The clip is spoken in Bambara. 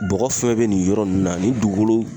Bɔgɔ fɛn fɛn be nin yɔrɔ nunnu na ,nin dugukolo